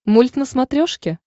мульт на смотрешке